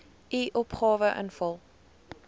u opgawe invul